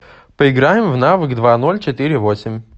поиграем в навык два ноль четыре восемь